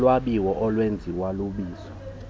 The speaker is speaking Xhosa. yolwabiwo olwenziwo luwiso